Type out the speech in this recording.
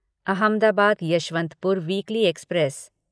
Ahmedabad Yesvantpur weekly express